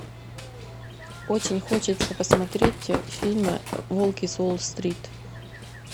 очень хочется посмотреть фильм волки с уолл стрит